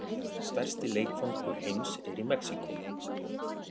Stærsti leikvangur heims er í Mexíkó